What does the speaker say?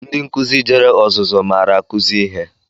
Ndị nkụzi jere ọzụzụ maara akuzi ihe.